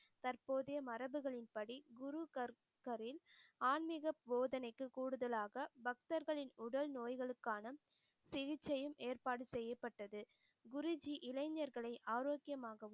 தற்போதைய மரபுகளின் படி குரு கற்க்கரின் ஆன்மிக போதனைக்கு கூடுதலாக பக்தர்களின் உடல் நோய்களுக்கான சிகிச்சையில் ஏற்பாடு செய்யப்பட்டது. குருஜி இளைஞர்களை ஆரோக்கியமாகவும்